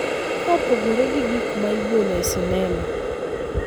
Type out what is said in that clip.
kaka opogore gi gik ma igolo e sinema.